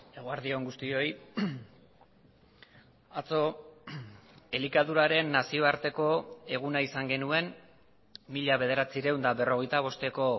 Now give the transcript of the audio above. eguerdi on guztioi atzo elikaduraren nazioarteko eguna izan genuen mila bederatziehun eta berrogeita bosteko